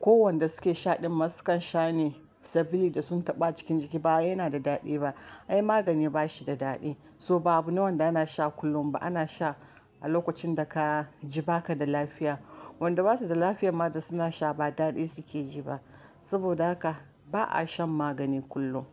Ko wanda suke shaɗin masu kan sha ne saboda sun taɓa cikin jiki ba yana da daɗi ba. Ai magani ba shi da daɗi, so ba abu ne wanda na sha kullum ba. Ana sha a lokacin da ka ji baka da lafiya. Wanda basu da lafiya ma da suna sha ba daɗi suke ji ba. Saboda haka ba a shan magani kullum.